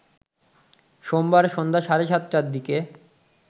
সোমবার সন্ধ্যা সাড়ে ৭টার দিকে